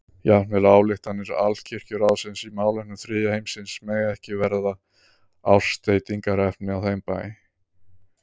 Jafnvel ályktanir Alkirkjuráðsins í málefnum þriðja heimsins mega ekki verða ásteytingarefni á þeim bæ.